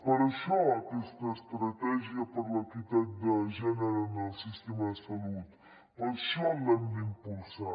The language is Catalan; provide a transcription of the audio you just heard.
per això aquesta estratègia per l’equitat de gènere en el sistema de salut per això l’hem d’impulsar